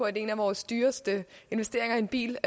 at en af vores dyreste investeringer er en bil